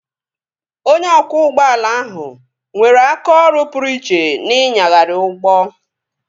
Onye ọkwọ ụgbọala ahụ nwere aka ọrụ pụrụ iche n'ịnyagharị ụgbọ